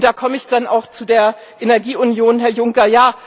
Da komme ich dann auch zu der Energieunion, Herr Juncker.